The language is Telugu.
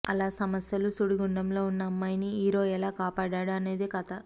అలా సమస్యల సుడిగుండంలో ఉన్న అమ్మాయిని హీరో ఎలా కాపాడాడు అనేదే కథ